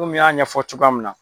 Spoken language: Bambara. Komi n y'a ɲɛfɔ cogoya min na.